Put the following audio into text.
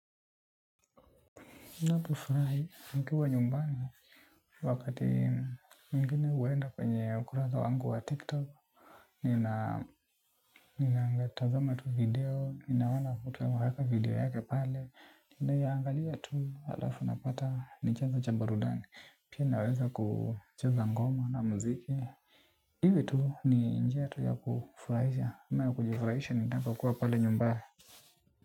Na kufurahi mkiwa nyumbani wakati nyingine huenda kwenye ukurasa wangu wa tiktok nina tazama tu video, ninaona mtu ameweka video yake pale ninaiangalia tu alafu napata nichanzo cha burudani. Pia naweza kucheza ngoma na muziki iwe tu ni njia tu ya kufurahisha ama ya kujifurahisha ninapokuwa pale nyumbani.